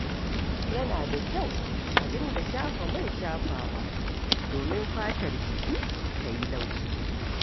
Yana da kyau a dinga shafa man shafawa domin fatar jiki ta yi laushi.